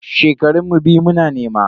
Shekaran mu biyu muna nema.